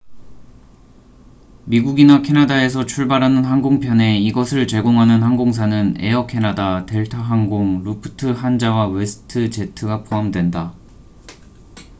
미국이나 캐나다에서 출발하는 항공편에 이것을 제공하는 항공사는 에어 캐나다 델타 항공 루프트한자와 웨스트 제트가 포함된다